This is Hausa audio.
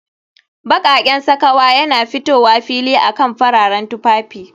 Baƙaƙen sakawa yana fitowa fili akan fararen tufafi